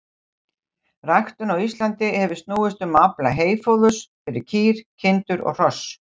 Ræktun á Íslandi hefur snúist um að afla heyfóðurs fyrir kýr, kindur og hross.